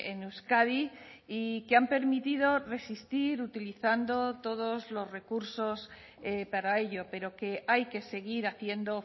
en euskadi y que han permitido resistir utilizando todos los recursos para ello pero que hay que seguir haciendo